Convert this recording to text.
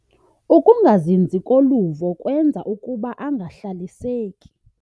Ukungazinzi koluvo kwenza ukuba angahlaliseki.